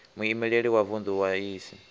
muimeleli wa vunḓu wa iss